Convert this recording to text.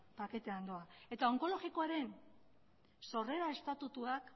paketean doa eta onkologikoaren sorrera estatutuak